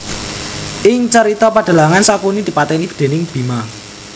Ing carita pedhalangan Sangkuni dipatèni déning Bima